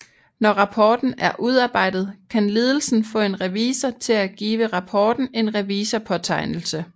Når rapporten er udarbejdet kan ledelsen få en revisor til at give rapporten en revisorpåtegnelse